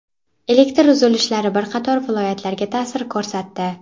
Elektr uzilishlari bir qator viloyatlarga ta’sir ko‘rsatdi.